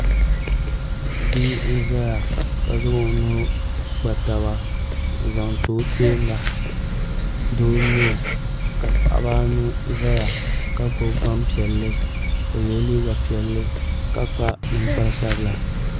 Bia n ʒɛya ka zaŋ o nuu kpa taba n zaŋ ti o teenga doo n nyɛ o ka paɣaba anu ʒɛya ka paɣa maa gbubi Gbanpiɛli o yɛla liiga piɛlli ka kpa ninkpari sabila